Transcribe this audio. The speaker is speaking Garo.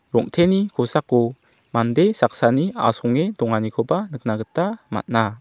rong·teni kosako mande saksani asonge donganikoba nikna gita man·a.